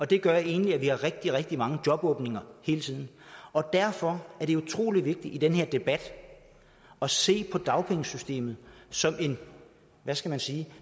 det gør egentlig at vi har rigtig rigtig mange jobåbninger hele tiden derfor er det utrolig vigtigt i den her debat at se på dagpengesystemet som hvad skal man sige